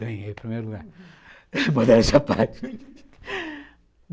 Ganhei o primeiro lugar modéstia parte.